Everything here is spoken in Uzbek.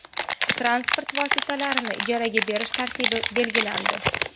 Transport vositalarini ijaraga berish tartibi belgilandi.